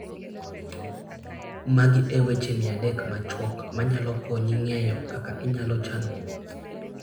Magi e weche 300 machuok manyalo konyi ng'eyo kaka inyalo chano wuoth: